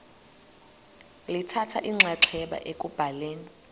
lithatha inxaxheba ekubhaleni